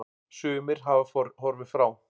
Sumir hafa horfið frá.